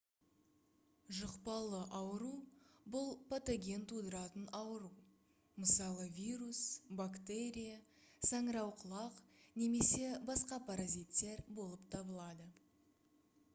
жұқпалы ауру бұл патоген тудыратын ауру мысалы вирус бактерия саңырауқұлақ немесе басқа паразиттер болып табылады